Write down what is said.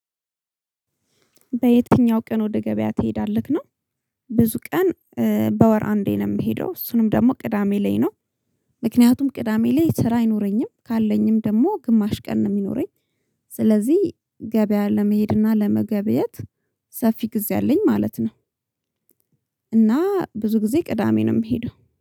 በየትኛው ቀን ወደ ገቢያ ትሄዳለህ ነው? ብዙ ቀን በ ወር አንዴ ነው ምሄደው እሱንም ደግሞ ቅዳሜ ላይ ነው። ሚክኒያቱም ቅዳሜ ላይ ስራ አይኖረኝ ካለኝም ደግሞ ግማሽ ቀን ነው ሚኖረኝ። ስለዚህ ገበያ ለመሄድ እና ለመገበየት ሰፊ ጊዜ አለኝ ማለት ነው። እና ብዙ ጊዜ ቅዳሜ ነው ምሄደው